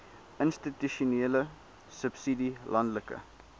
institusionele subsidie landelike